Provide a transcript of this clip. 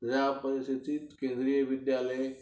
ह्या परिस्थितीत केंद्रीय विद्यालय